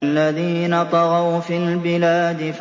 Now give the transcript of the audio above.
الَّذِينَ طَغَوْا فِي الْبِلَادِ